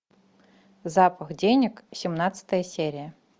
запах денег семнадцатая серия